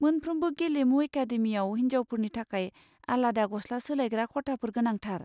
मोनफ्रोमबो गेलेमु एकादेमिआव हिनजावफोरनि थाखाय आलाद गस्ला सोलायग्रा खथाफोरा गोनांथार।